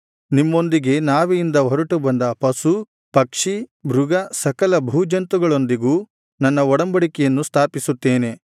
ನಿಮ್ಮೊಂದಿಗೆ ನಾವೆಯಿಂದ ಹೊರಟು ಬಂದ ಪಶು ಪಕ್ಷಿ ಮೃಗ ಸಕಲ ಭೂಜಂತುಗಳೊಂದಿಗೂ ನನ್ನ ಒಡಂಬಡಿಕೆಯನ್ನು ಸ್ಥಾಪಿಸುತ್ತೇನೆ